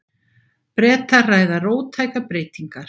Bretar ræða róttækar breytingar